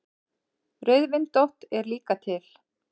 Rauðvindótt er líka til.